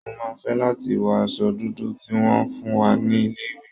Mo máa fẹ́ láti wọ aṣọ dúdú tí wọ́n fún wa ní ilé-ìwé.